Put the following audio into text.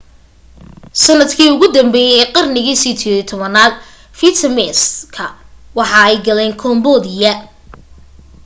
sanadkii ugu danbeye ee qarnigii 18aad vietnamese-ka waxa ay galeen cambodia